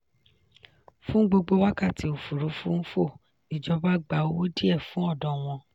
fún gbogbo wákàtí òfúrufú ń fò ìjọba gba owó díẹ̀ fún ọ̀dọ̀ wọn.